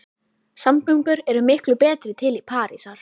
Samgöngur eru miklu betri til Parísar.